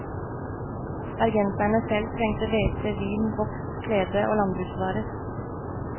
Bergenserne selv trengte hvete, vin, voks, klede og landbruksvarer.